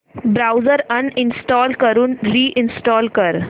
browser uninstall करून reinstall कर